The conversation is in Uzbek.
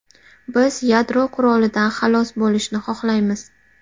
Biz yadro qurolidan xalos bo‘lishni xohlaymiz.